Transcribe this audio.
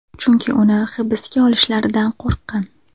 Chunki uni hibsga olishlaridan qo‘rqqan.